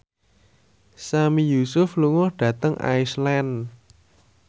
Sami Yusuf lunga dhateng Iceland